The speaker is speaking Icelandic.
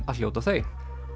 að hljóta þau